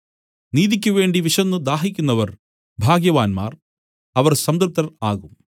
നീതിക്കുവേണ്ടി വിശന്നു ദാഹിക്കുന്നവർ ഭാഗ്യവാന്മാർ അവർ സംതൃപ്തർ ആകും